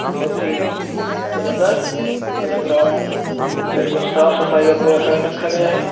बहुत ही ज़बरदस्त। पूरा ग्राउंड बिल्कुल साफ सफाई का पूरा ख्याल रखा गया है।